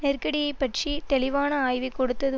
நெருக்கடியைப் பற்றிய தெளிவான ஆய்வைக் கொடுத்தது